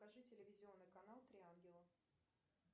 покажи телевизионный канал три ангела